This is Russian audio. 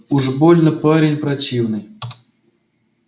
уж больно парень противный